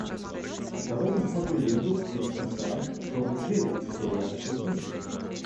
давай посмотрю ленту с кирстен данст том и джерри история о щелкунчике